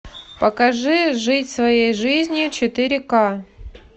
покажи жить своей жизнью четыре к